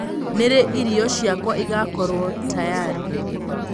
ni rii ĩrĩo cĩakwa igakorwo tayarĩ